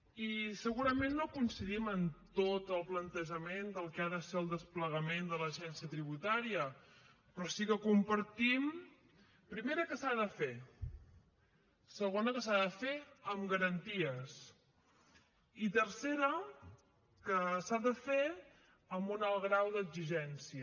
i segurament no coincidim en tot el plantejament del que ha de ser el desplegament de l’agència tributària però sí que compartim primera que s’ha de fer segona que s’ha de fer amb garanties i tercera que s’ha de fer amb un alt grau d’exigència